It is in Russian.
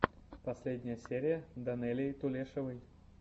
последняя серия данелии тулешовой